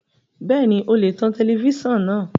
Bẹ́ẹ̀ni o lè tan tẹlẹfísàn náà